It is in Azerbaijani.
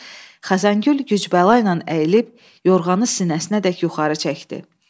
Xəzəngül güc-bəlayla əyilib yorğanı sinəsinədək yuxarı çəkdi.